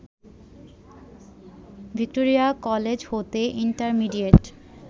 Victoria college হতে intermediate